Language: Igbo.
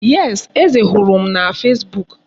Yes, Eze hụrụ m na fesbuk.